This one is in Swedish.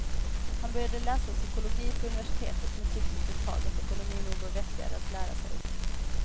Han började läsa psykologi på universitetet men tyckte efter ett tag att ekonomi nog var vettigare att lära sig.